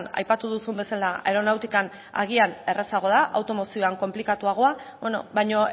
aipatu duzun bezala aeronautikan agian errazagoa da automozioan konplikatuago baina